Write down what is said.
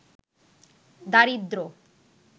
দারিদ্র্য